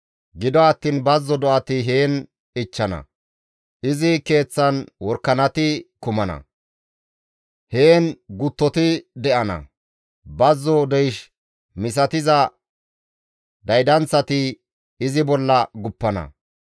Gido attiin bazzo do7ati heen ichchana; izi keeththan worakanati kumana; heen guttoti de7ana; bazzon deysh misatiza daydanththati izi bolla guppana.